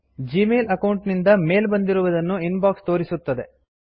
Gmail account ನಿಂದ mail ಬಂದಿರುವುದನ್ನು inbox ತೋರಿಸುತ್ತದೆ